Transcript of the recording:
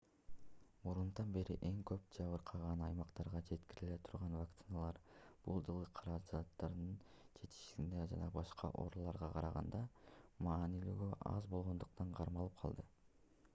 мурунтан бери эң көп жабыркаган аймактарга жеткириле турган вакциналар бул жылы каражаттардын жетишсиздигинен жана башка ооруларга караганда маанилүүлүгү аз болгондуктан кармалып калды